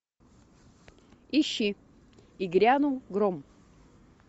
ищи и грянул гром